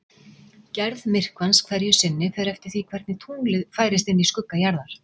Gerð myrkvans hverju sinni fer eftir því hvernig tunglið færist inn í skugga jarðar.